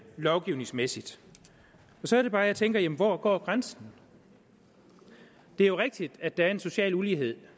lovgivningsmæssigt så er det bare jeg tænker hvor går grænsen det er jo rigtigt at der er en social ulighed